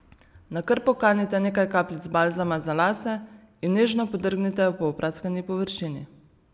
Na krpo kanite nekaj kapljic balzama za lase in nežno podrgnite po opraskani površini.